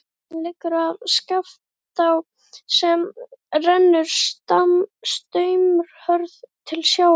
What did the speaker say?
Leiðin liggur að Skaftá sem rennur straumhörð til sjávar.